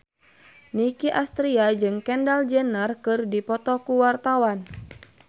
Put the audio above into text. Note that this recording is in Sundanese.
Nicky Astria jeung Kendall Jenner keur dipoto ku wartawan